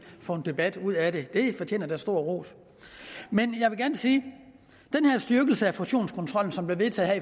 få en debat ud af det det fortjener da stor ros men jeg vil gerne sige at styrkelse af fusionskontrollen som blev vedtaget